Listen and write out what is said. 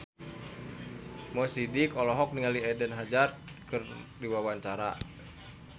Mo Sidik olohok ningali Eden Hazard keur diwawancara